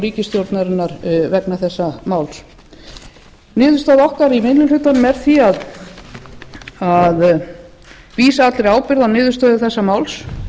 ríkisstjórnarinnar vegna þessa máls niðurstaða okkar í minni hlutanum er því að vísa allri ábyrgð á niðurstöðu þessa máls